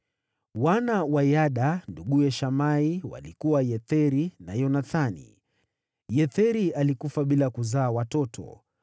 Wana wa Yada, nduguye Shamai walikuwa: Yetheri na Yonathani. Yetheri alikufa bila kuzaa watoto.